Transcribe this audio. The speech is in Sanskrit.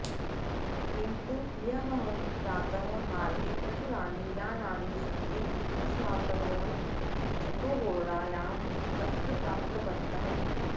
किन्तु ह्यः प्रातः मार्गे प्रचुरानि यानानि सन्ति तस्मात् वयं चतुर्होरायां तत्र प्राप्तवन्तः